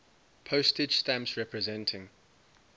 postage stamps representing